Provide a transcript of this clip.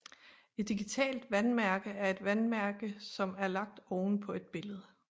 Et digitalt vandmærke er en vandmærke som er lagt oven på et billede